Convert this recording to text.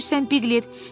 Düz deyirsən, Piqlet.